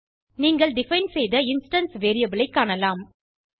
நீங்கள் டிஃபைன் செய்த instance variable ஐ காணலாம்